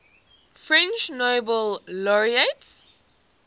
french nobel laureates